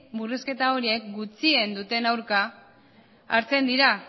murrizketa horiek gutxien duten aurka hartzen dira